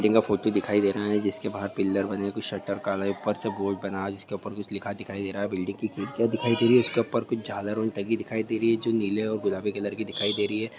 दिन का फोटो दिखाई दे रहा है जिसके बाहर पीलर बने हैं कुछ शटर काला है ऊपर से बोर्ड बना जिसके ऊपर कुछ लिखा दिखाई दे रहा है और बिल्डिंग की खिड़कियां दिखाई दे रही है जिसके ऊपर कुछ झालर टंगी दिखाई दे रही है जो नीले और गुलाबी कलर की दिखाई दे रही है।